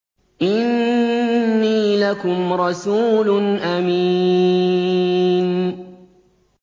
إِنِّي لَكُمْ رَسُولٌ أَمِينٌ